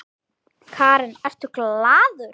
Karen: Ertu glaður?